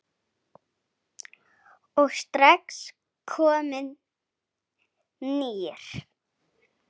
og strax kominn nýr.